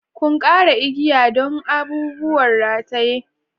Ƙunƙarar igiya don abubuwan rataye.